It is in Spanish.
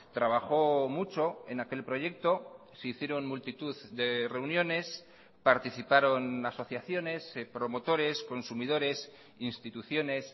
trabajó mucho en aquel proyecto se hicieron multitud de reuniones participaron asociaciones promotores consumidores instituciones